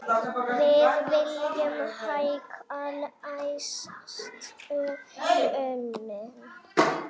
Við viljum hækka lægstu launin.